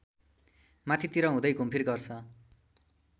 माथितिर हुँदै घुमफिर गर्छ